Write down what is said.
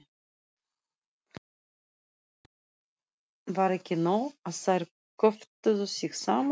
Var ekki nóg að þær kjöftuðu sig saman?